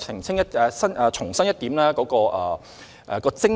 然而，我想重申我們的精神。